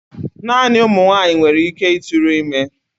Naanị ụmụ nwanyị nwere ike ịtụrụ ime.